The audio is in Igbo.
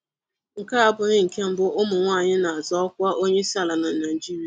Nke a abụghị nke mbụ ụmụnwaanyị na-azọ ọkwa onyeisiala na Naịjirịa.